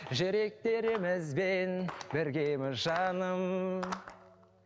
жүректерімізбен біргеміз жаным